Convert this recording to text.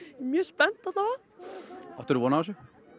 mjög spennt áttir þú von á þessu